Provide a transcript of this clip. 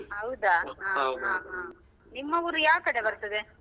ಹೌದಾ ಹ ಹ ನಿಮ್ಮ ಊರು ಯಾವ ಕಡೆ ಬರ್ತದೆ?